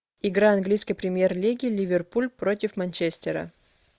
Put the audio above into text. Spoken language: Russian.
игра английской премьер лиги ливерпуль против манчестера